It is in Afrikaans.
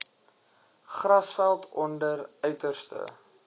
grasveld onder uiterste